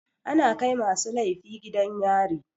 Ana kai masu laifi gidan yari.